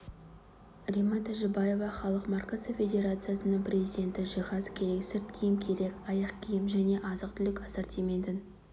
римма тажибаева халық маркасы федерациясының президенті жиһаз керек сырт киім керек аяқ-киім және де азық-түлік ассортиментін